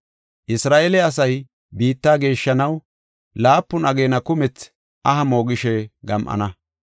“Isra7eele asay biitta geeshshanaw, laapun ageena kumethi aha moogishe gam7ana.